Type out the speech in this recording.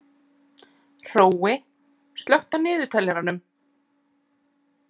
Hrói, slökktu á niðurteljaranum.